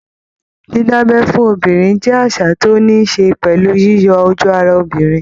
Dídábẹ́ fún obìnrin jẹ́ àṣà tó ní ṣe pẹ̀lú yíyọ ojú ara obìnrin